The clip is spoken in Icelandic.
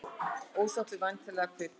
Ósáttur við væntanlega kvikmynd